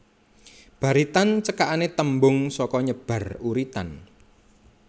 Baritan cekakané tembung saka nyebar uritan